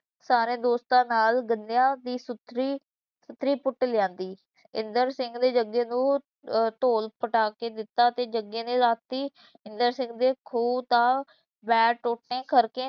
ਸਾਰੇ ਦੋਸਤਾਂ ਨਾਲ ਗੰਨਿਆਂ ਦੀ ਸੁੱਥਰੀ ਸੁੱਥਰੀ ਪੁੱਟ ਲਿਆਂਦੀ, ਇੰਦਰ ਸਿੰਘ ਨੇ ਜੱਗੇ ਨੂੰ ਅਹ ਧੌਲ ਪਟਾ ਕੇ ਦਿੱਤਾ ਤੇ ਜੱਗੇ ਨੇ ਰਾਤੀਂ ਇੰਦਰ ਸਿੰਘ ਦੇ ਖੂਹ ਦਾ ਬੈੜ ਟੋਟੇ ਕਰਕੇ